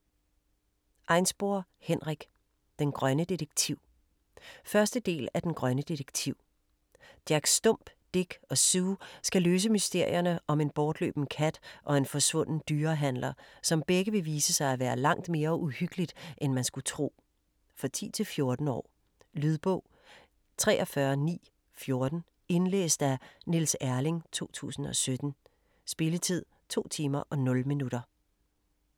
Einspor, Henrik: Den grønne detektiv 1. del af Den grønne detektiv. Jack Stump, Dick og Sue skal løse mysterierne om en bortløben kat og en forsvunden dyrehandler, som begge vil vise sig at være langt mere uhyggeligt end man skulle tro. For 10-14 år. Lydbog 43914 Indlæst af Niels Erling, 2017. Spilletid: 2 timer, 0 minutter.